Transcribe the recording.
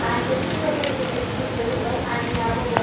And this much only is its been visible and we have a va --